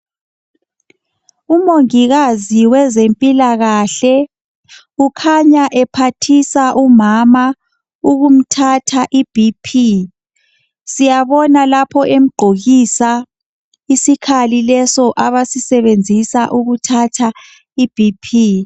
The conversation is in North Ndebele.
Umongikazi wezempilakahle ukhanya ephathisa umama ukumthatha ibp. Siyabona lapho emgqokisa isikhali leso abasisebenzisa ukuthatha I bp.